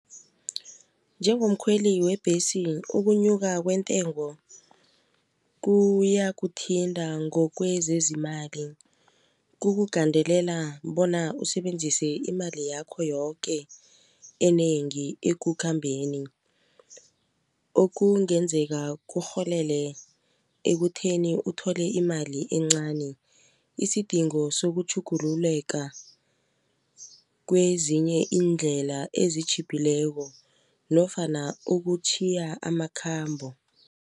Njengomkhweli webhesi ukunyuka kwentengo kuyakuthinta ngokwezezimali kukugandelela bona usebenzise imali yakho yoke enengi ekukhambeni. Okungenzeka kurholele ekutheni uthole imali encani isidingo sokutjhugululeka kwezinye iindlela ezitjhiphileko nofana ukutjhiya amakhambo.